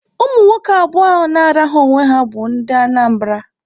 Ụmụ nwoke abụọ ahụ na-arahụ onwe ha bụ ndị Anambra.